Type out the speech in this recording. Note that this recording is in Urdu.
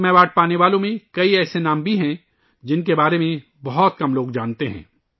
پدم ایوارڈ حاصل کرنے والوں میں ایسے بہت سے نام ہیں ،جن کے بارے میں بہت کم لوگ جانتے ہیں